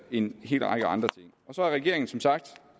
en hel række andre ting så har regeringen som sagt